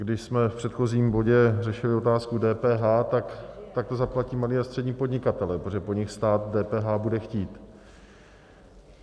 Když jsme v předchozím bodě řešili otázku DPH, tak to zaplatí malí a střední podnikatelé, protože po nich stát DPH bude chtít.